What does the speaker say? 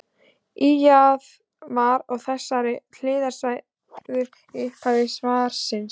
Ýjað var að þessari hliðstæðu í upphafi svarsins.